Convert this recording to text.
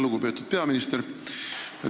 Lugupeetud peaminister!